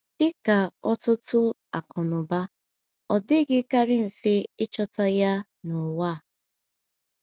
Dị ka ọtụtụ akụnụba, ọ dịghịkarị mfe ịchọta ya n’ụwa a.